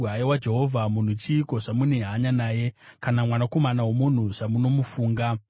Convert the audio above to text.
Haiwa Jehovha, munhu chiiko zvamune hanya naye? Kana mwanakomana womunhu zvamunomufunga?